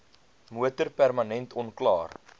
motor permanent onklaar